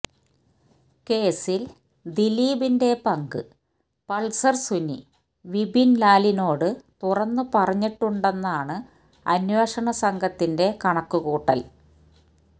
കേസില് ദിലീപിന്റെ പങ്ക് പള്സര് സുനി വിപിന്ലാലിനോട് തുറന്ന് പറഞ്ഞിട്ടുണ്ടെന്നാണ് അന്വേഷണസംഘത്തിന്റെ കണക്ക് കൂട്ടല്